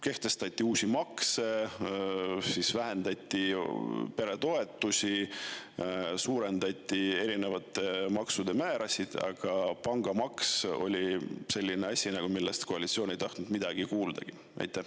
Kehtestati uusi makse, vähendati peretoetusi, suurendati erinevate maksude määrasid, aga pangamaks on selline asi, millest koalitsioon ei ole tahtnud midagi kuulda.